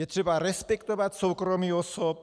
Je třeba respektovat soukromí osob.